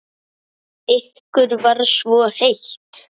Ykkur var svo heitt.